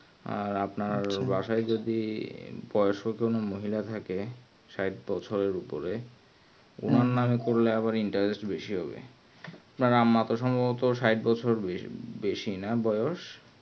আর আপনার বাসায় যদি বয়স্ক যদি কোনো মহিলা থাকে সাঠ বছরের উপরে ওর নাম করলে আবার interest বেশি হবে আপনার মা তো সম্ভবত সাঠ বেশি না বয়স